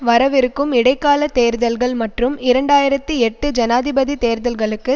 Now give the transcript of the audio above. வரவிருக்கும் இடைக்கால தேர்தல்கள் மற்றும் இரண்டு ஆயிரத்தி எட்டு ஜனாதிபதி தேர்தல்களுக்கு